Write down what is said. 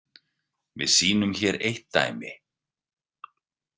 Við sýnum hér eitt dæmi.